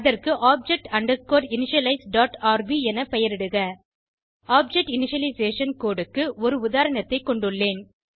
அதற்கு object underscore initialize dot R B என பெயரிடுக ஆப்ஜெக்ட் இனிஷியலைசேஷன் கோடு க்கு ஒரு உதாரணத்தை கொண்டுள்ளேன்